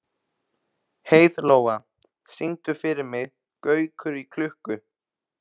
Heiðlóa, syngdu fyrir mig „Gaukur í klukku“.